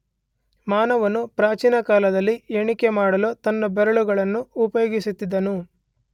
ಮಾನವನು ಪ್ರಾಚೀನಕಾಲದಲ್ಲಿ ಎಣಿಕೆ ಮಾಡಲು ತನ್ನ ಬೆರಳುಗಳನ್ನು ಉಪಯೋಗಿಸುತ್ತಿದ್ದನು.